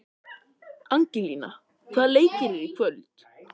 Angelína, hvaða leikir eru í kvöld?